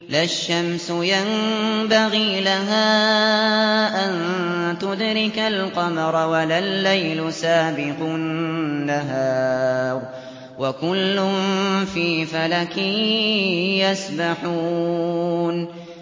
لَا الشَّمْسُ يَنبَغِي لَهَا أَن تُدْرِكَ الْقَمَرَ وَلَا اللَّيْلُ سَابِقُ النَّهَارِ ۚ وَكُلٌّ فِي فَلَكٍ يَسْبَحُونَ